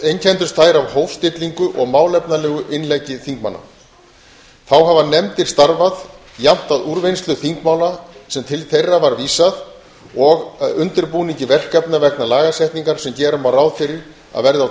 einkenndust þær af hófstillingu og málefnalegu innleggi þingmanna þá hafa nefndir starfað jafnt að úrvinnslu þingmála sem til þeirra var vísað og undirbúningi verkefna vegna lagasetningar sem gera má ráð fyrir að verði á